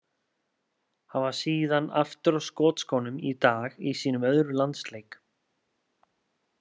Hann var síðan aftur á skotskónum í dag í sínum öðrum landsleik.